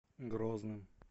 грозным